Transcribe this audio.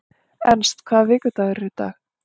Ernst, hvaða vikudagur er í dag?